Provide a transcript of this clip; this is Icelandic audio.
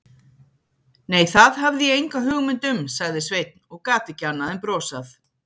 Nei, það hafði ég enga hugmynd um, sagði Sveinn og gat ekki annað en brosað.